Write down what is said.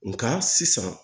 Nga sisan